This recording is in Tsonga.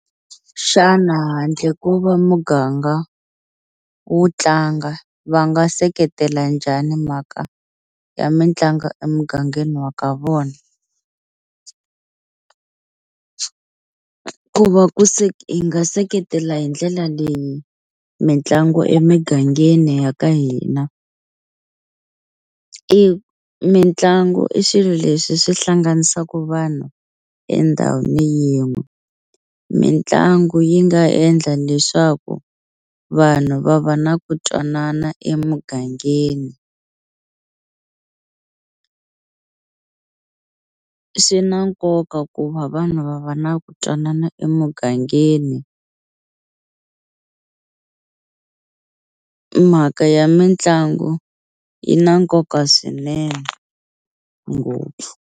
Xana handle ko va muganga wu tlanga va nga seketela njhani mhaka ya mitlangu emugangeni wa ka vona? Ku va ku hi nga seketela hi ndlela leyi mitlangu emigangeni ya ka hina i mitlangu i swilo leswi swi hlanganisaku vanhu endhawini yin'we mitlangu yi nga endla leswaku vanhu va va na ku twanana emugangeni swi na nkoka ku va vanhu va va na ku twanana emugangeni mhaka ya mitlangu yi na nkoka swinene ngopfu.